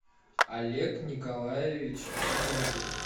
олег николаевич зиновьев